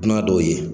Dunan dɔw ye